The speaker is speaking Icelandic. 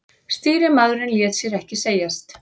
Stýrimaðurinn lét sér ekki segjast.